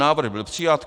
Návrh byl přijat.